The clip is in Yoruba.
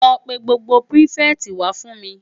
Lò pè gbógbó pirifèti wá fún mi